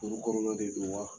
Furu kɔnɔna de do wa.